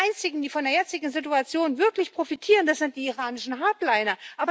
Die Einzigen, die von der jetzigen Situation wirklich profitieren, das sind die iranischen Hardliner.